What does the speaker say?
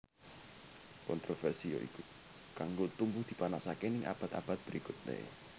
Kontroversi yoiku kanggo tumbuh dipanasake ning abad abad berikutne